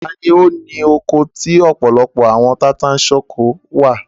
Ta ni ó loko tí ó ọ̀pọ̀lọpọ̀ àwọn tata-n-sánkọ?